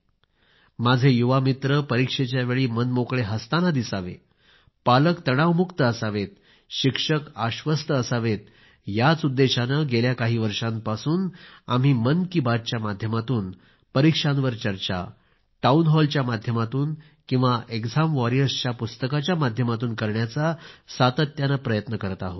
माझे युवा मित्र परिक्षेच्या वेळी मनमोकळे हसताना दिसावे पालक तणावमुक्त असावेत शिक्षक आश्वस्त असावेत याच उद्देशाने गेल्या काही वर्षांपासून आम्ही मन की बातच्या माध्यमातून परीक्षांवर चर्चा टाऊन हॉल च्या माध्यमातून किंवा एक्झाम वॉरियर्स पुस्तकाच्या माध्यमातून करण्याचा सतत प्रयत्न करत आहोत